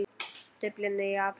Dublin í apríl